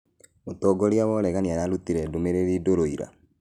Mũtongoria wa ũregani ararutire ndũmĩrĩri ndũrũ ira